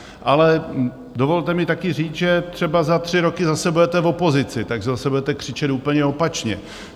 Ale dovolte mi také říct, že třeba za tři roky zase budete v opozici, takže zase budete křičet úplně opačně.